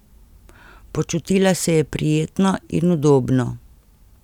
Počutila se je prijetno in udobno.